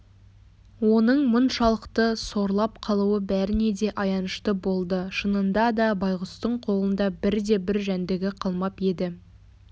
оның мұншалықты сорлап қалуы бәріне де аянышты болды шынында да байғұстың қолында бірде-бір жәндігі қалмап еді